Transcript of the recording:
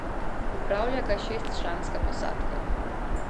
Upravlja ga šestčlanska posadka.